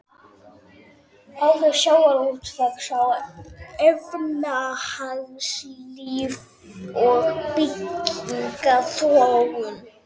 Áhrif sjávarútvegs á efnahagslíf og byggðaþróun.